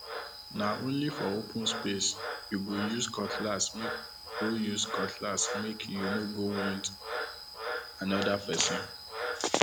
na only for open space you go use cutlassmake go use cutlassmake you no go wound another person